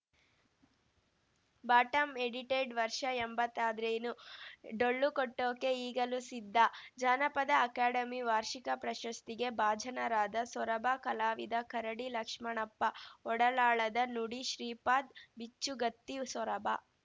bottom edited ವರ್ಷ ಎಂಬತ್ತ್ ಆದ್ರೇನು ಡೊಳ್ಳು ಕಟ್ಟೋಕೆ ಈಗಲೂ ಸಿದ್ಧ ಜಾನಪದ ಅಕಾಡೆಮಿ ವಾರ್ಷಿಕ ಪ್ರಶಸ್ತಿಗೆ ಭಾಜನರಾದ ಸೊರಬ ಕಲಾವಿದ ಕರಡಿ ಲಕ್ಷ್ಮಣಪ್ಪ ಒಡಲಾಳದ ನುಡಿ ಶ್ರೀಪಾದ್‌ ಬಿಚ್ಚುಗತ್ತಿ ಸೊರಬ